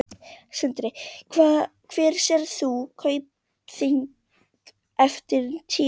Sindri: Hvar sérð þú Kaupþing eftir tíu ár?